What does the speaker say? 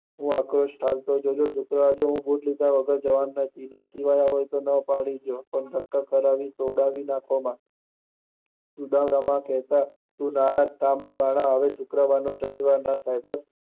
હું આક્રોશ થતા શુક્રવાર કેહતા આમ ના પડી દ્યો, ઓન ધક્કા ખવડાવી તોડાવી ધોમ, તું નારાજ થા માં ભાણા, હવે હસુક્રવાર નો શનિવાર ના થાય